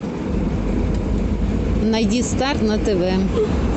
найди старт на тв